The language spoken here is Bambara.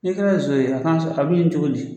N'i kɛra ye nson ye a kan a bɛ ɲini cogo di